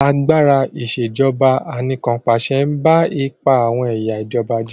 Agbára Ìṣèjọba Anìkànpàṣẹ ń ba ipa àwọn ẹ̀yà ìjọba jẹ́